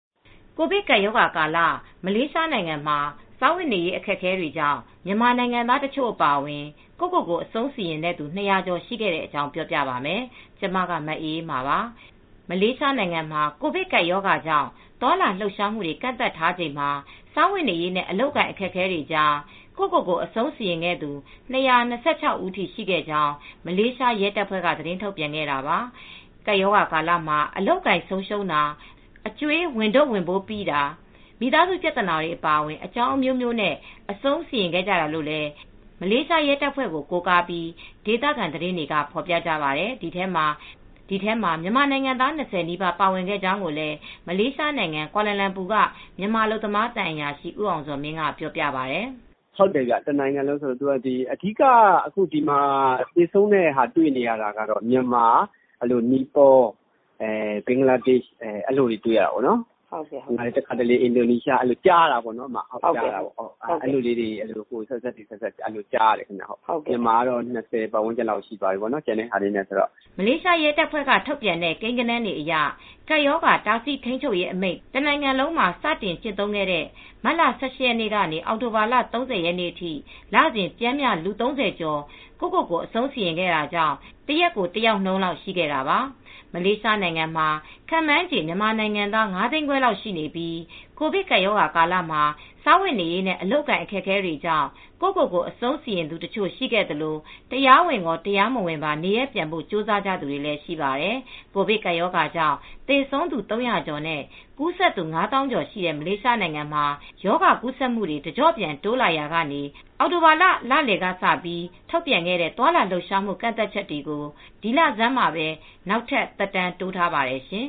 ကိုဗစ်ကပ်ရောဂါကာလ မလေးရှားနိုင်ငံမှာ စားဝတ်နေရေး အခက်အခဲတွေကြောင့် မြန်မာနိုင်ငံသား တချို့အပါအဝင် ကိုယ့်ကိုယ်ကို အဆုံးစီရင်သူ ၂ ရာကျော် ရှိခဲ့တဲ့အကြောင်း မအေးအေးမာ သတင်းပေးပို့ထားပါတယ်။ မလေးရှားနိုင်ငံမှာ ကိုဗစ်ကပ်ရောဂါကြောင့် သွားလာလှုပ်ရှားမှုတွေ ကန့်သတ်ထားချိန်မှာ စားဝတ်နေရေးနဲ့ အလုပ်အကိုင် အခက်အခဲတွေကြား ကိုယ့်ကိုယ်ကို အဆုံးစီရင်ခဲ့သူ ၂၂၆ ဦး ရှိခဲ့ကြောင်း မလေးရှားရဲတပ်ဖွဲ့က သတင်းထုတ်ပြန်ခဲ့တာပါ။ ကပ်ရောဂါကာလမှာ အလုပ်အကိုင် ဆုံးရှုံးတာ၊ အကြွေးဝန်ထုပ်ဝန်ပိုးပိတာ၊ မိသားစုပြသာနာတွေ အပါအဝင် အကြောင်းအမျိုးမျိုးနဲ့ အဆုံးစီရင်ခဲ့ကြတာလို့လည်း မလေးရှားရဲတပ်ဖွဲ့ကို ကိုးကားပြီး ဒေသခံသတင်းတွေက ဖော်ပြကြပါတယ်။ ဒီအထဲမှာ မြန်မာနိုင်ငံသား ၂၀ နီးပါး ပါဝင်ခဲ့ကြောင်းလည်း မလေးရှားနိုင်ငံကွာလာလမ်ပူက မြန်မာအလုပ်သမားသံအရာရှိ ဦးအောင်ဇော်မင်းက ပြောပါတယ်။ “တနိုင်ငံလုံးအတိုင်းအတာနဲ့ဆိုရင်တော့ ဟုတ်ပါတယ်အဓီက သေဆုံးတဲ့ဟာတွေ့နေရတာကတော့မြန်မာ နီပေါ ဘင်္ဂလားဒေရှ် အင်ဒိုနီးရှား အဲဒါတွေ ကြားရတယ်ပေါ့နော် မြန်မာကတော့ ၂၀၀န်းကျင်လောက်ရှိသွားပါပြီ ပေါ့နော်။” မလေးရှား ရဲတပ်ဖွဲ့က ထုတ်ပြန်တဲ့ ကိန်းဂဏန်းတွေအရ ကပ်ရောဂါတားဆီးထိန်းချုပ်ရေးအမိန့် တစ်နိုင်ငံလုံးမှာ စတင်ကျင့်သုံးခဲ့တဲ့ မတ်လ ၁၈ ရက်နေ့ကနေ အောက်တိုဘာလ ၃၀ ရက်နေ့အထိ လစဉ် ပျမ်းမျှ လူ ၃၀ကျော် ကိုယ့်ကိုယ်ကို အဆုံးစီရင်ခဲ့တာကြောင့် တရက်ကို ၁ ယောက်နှုန်းလောက် ရှိခဲ့တာပါ။ မလေးရှားနိုင်ငံမှာ ခန့်မှန်းခြေ မြန်မာနိုင်ငံသား ၅သိန်းခွဲလောက်ရှိနေပြီး ကိုဗစ်ကပ်ရောဂါ ကာလမှာ စားဝတ်နေရေးနဲ့ အလုပ်အကိုင် အခက်အခဲတွေကြောင့် ကိုယ့်ကိုယ်ကို အဆုံးစီရင်သူတချို့ ရှိခဲ့သလို တရားဝင်ရော၊ တရားမဝင်ပါ နေရပ်ပြန်ဖို့ ကြိုးစားသူတွေလည်း ရှိပါတယ်။ ကိုဗစ်ကပ်ရောဂါကြောင့် သေဆုံးသူ ၃၀၀ ကျော်နဲ့ ကူးစက်သူ ၅ သောင်းကျော်ရှိတဲ့ မလေးရှားနိုင်ငံမှာ ရောဂါကူးစက်မှုတွေ တကျော့ပြန် တိုးလာရာက အောက်တိုဘာလလယ်ကစ ထုတ်ပြန်ခဲ့တဲ့ သွားလာလှုပ်ရှားမှု ကန့်သတ်ချက်တွေကို ဒီလဆန်းမှာပဲ နောက်ထပ် သက်တမ်းတိုးထားပါတယ်ရှင်